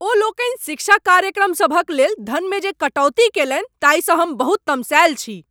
ओ लोकनि शिक्षा कार्यक्रमसभक लेल धनमे जे कटौती कएलनि ताहिसँ हम बहुत तमसायल छी।